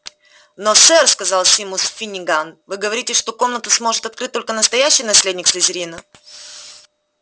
но сэр сказал симус финниган вы говорите что комнату сможет открыть только настоящий наследник слизерина